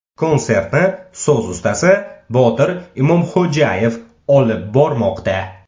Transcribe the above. Konsertni so‘z ustasi Botir Imomxo‘jaev olib bormoqda.